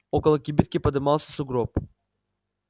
около кибитки подымался сугроб